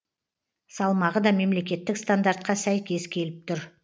салмағы да мемлекеттік стандартқа сәйкес келіп тұр